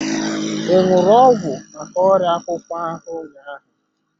I ṅụrụ ọgwụ maka ọrịa akpụkpọ ahụ ụnyaahụ?